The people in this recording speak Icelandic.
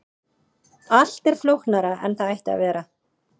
Allt er flóknara en það ætti að vera.